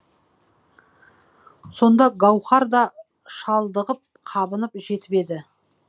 сонда гауһар да шалдығып қабынып жетіп еді